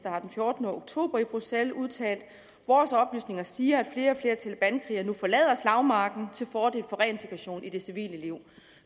har den fjortende oktober i bruxelles udtalt vores oplysninger siger at flere talebankrigere nu forlader slagmarken til fordel for reintegration i det civile liv